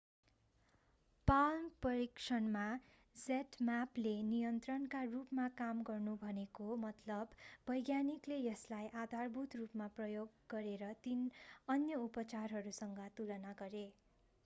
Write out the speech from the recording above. palm परीक्षणमा zmappले नियन्त्रणका रूपमा काम गर्नु भनेको मतलब वैज्ञानिकले यसलाई आधारभूत रूपमा प्रयोग गरेर तीन अन्य उपचारहरूसँग तुलना गरे।